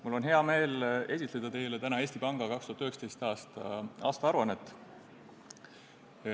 Mul on hea meel esitleda teile täna Eesti Panga 2019. aasta aruannet.